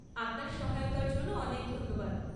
আপনার সহায়তার জন্য অনেক ধন্যবাদ।